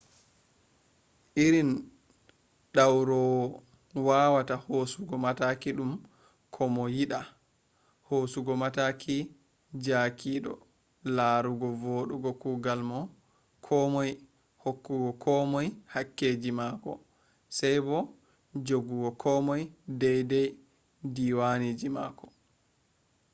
irin ɗawroowa wawata hoosugo mataki ɗum ko mo yiɗa hoosugo mataki jaakiɗo larugo wodugo kugal ko moi hokkugo ko moy kakkeji mako sey bo joggugo ko moy deydey diwanji mako